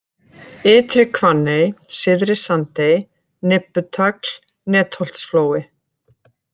Ytri-Hvanney, Syðri-Sandey, Nibbutagl, Netholtsflói